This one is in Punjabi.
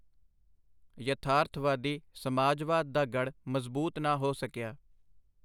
ਯਥਾਰਥਵਾਦੀ ਸਮਾਜਵਾਦ ਦਾ ਗੜ੍ਹ ਮਜ਼ਬੂਤ ਨਾ ਹੋ ਸਕਿਆ.